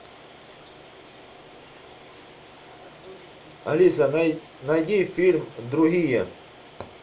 алиса найди фильм другие